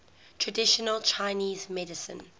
traditional chinese medicine